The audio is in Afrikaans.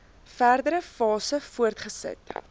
verdere fases voortgesit